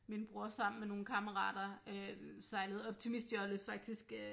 Min bror sammen med nogle kammerater øh sejlede optimistjolle faktisk øh